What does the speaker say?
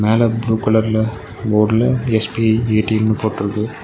மேல ப்ளூ கலர்ல போர்டுல எஸ்_பி_ஐ ஏ_டி_எம்னு போட்ருக்கு.